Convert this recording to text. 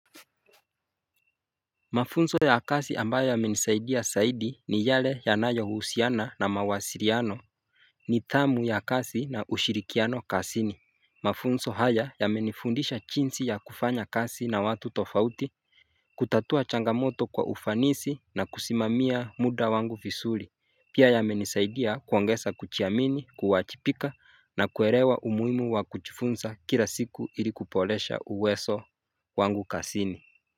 Mafunzo ya kazi ambayo yamenisaidia aidi ni yale yanayo huusiana na mawasiliano nidhamu ya kasi na ushirikiano kasini Mafunso haya ya menifundisha chinsi ya kufanya kasi na watu tofauti kutatua changamoto kwa ufanisi na kusimamia muda wangu visuri Pia yamenisaidia kuongesa kuchiamini kuwachipika na kuerewa umuhimu wa kuchifunsa kila siku ilikupolesha uweso wangu kasini.